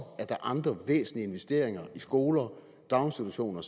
er andre væsentlige investeringer i skoler daginstitutioner